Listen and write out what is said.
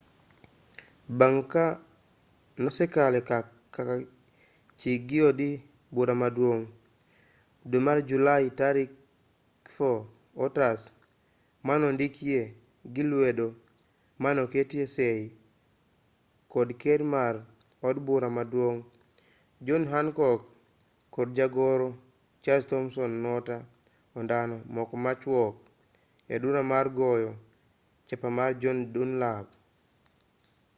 bang' ka nosekale kaka chik gi od bura maduong' e dwe mar julai tarik 4 otas manondikee gi lwedo manoketie sei kod ker mar od bura maduong' john hancock kod jagoro charles thomson noter ondamo moko machwok e duka mar goyo chapa mar john dunlap